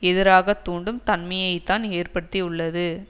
எதிராக தூண்டும் தன்மையை தான் ஏற்படுத்தியுள்ளது